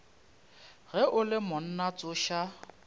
ge o le monna tsoša